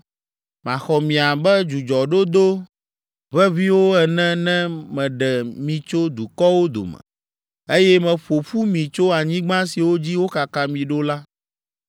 Maxɔ mi abe dzudzɔdodo ʋeʋĩwo ene ne meɖe mi tso dukɔwo dome, eye meƒo ƒu mi tso anyigba siwo dzi wokaka mi ɖo la.